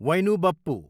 वैनु बप्पु